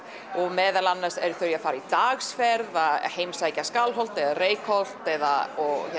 meðal annars eru þau að fara í dagsferð að heimsækja Skálholt eða Reykholt eða